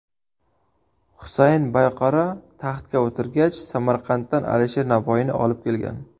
Husayn Boyqaro taxtga o‘tirgach, Samarqanddan Alisher Navoiyni olib kelgan.